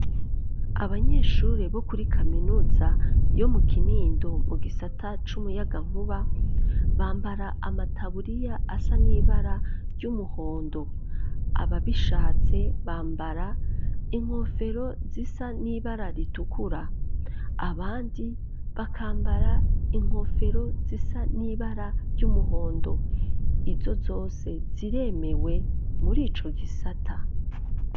Abanyeshure bo kuri kaminuza, yo mu Kinindo, mu gisata c'umuyagankuba, bambara amataburiya asa n'ibara ry'umuhondo, ababishatse, bambara inkofero, zisa n'ibara ritukura, abandi, bakambara inkofero, zisa n'ibara ry'umuhondo; izo zose, ziremewe muri ico gisata.